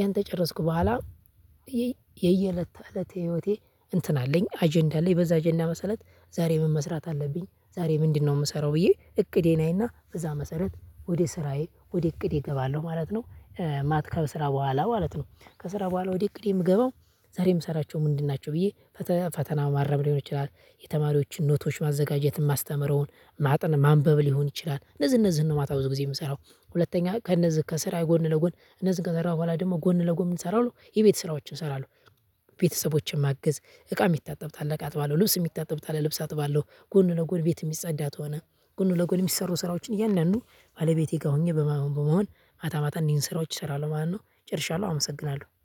ያን ከጨረስኩ በኋላ የየእለት ተእለት ህይወቴ እንትን አለኝ አጀንዳ አለኝ። በዛ አጀንዳ መሰረት ዛሬ ምን መስራት አለብኝ? ዛሬ ምንድነው የምሰራው? ብዬ እቅዴን አይና በዛ መሰረት ወደ ስራዬ ወደ እቅዴ እገባለሁ ማለት ነው። ማታ ከስራ በኋላ ማለት ነው። ከስራ በኋላ ወደ እቅዴ የምገባው ዛሬ የምሰራቸው ምንድን ናቸው? ብዬ ፈተና ማረም ሊሆን ይችላል፤ የተማሪዎችን ኖቶች ማዘጋጀት የማስተምረውን ማጤን ማንበብ ሊሆን ይችላል። እነዚህ እነዚህን ነው ማታ ብዙ ጊዜ የምሰራው። ሁለተኛ ከእነዚህ ከስራዬ ጎን ለጎን እነዚህን ከሰራው በኋላ ደግሞ ጎን ለጎን ምን እሰራለሁ? የቤት ስራዎችን እሰራለሁ። ቤተሰቦችን ማግዝ እቃ የሚታጠብ ካለ እቃ አጥባለው። ልብስ የሚታጠብ ካለ ልብስ አጥባለው። ጎን ለጎን ቤት የሚጸዳ ከሆ፣ ጎን ለጎን የሚሰሩ ስራዎችን እያንዳንዱን ባለቤቴ ጋር ሆኜ በመሆን ማታ ማታ እንዲህ ስራዎች እሰራለሁ ማለት ነው ጨርሻለሁ አመሰግናለሁ።